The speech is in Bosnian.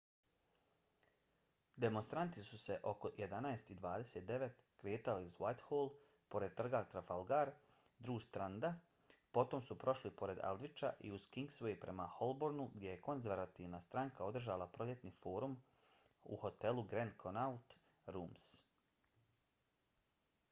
demonstranti su se oko 11:29 kretali uz whitehall pored trga trafalgar duž stranda potom su prošli pored aldwycha i uz kingsway prema holbornu gdje je konzervativna stranka održavala proljetni forum u hotelu grand connaught rooms